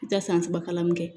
I bɛ taa san saba kalan kɛ